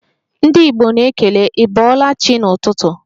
Ndị Igbo na-ekele 'ibolachi' n'ụtụtụ